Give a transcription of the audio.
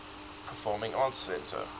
performing arts center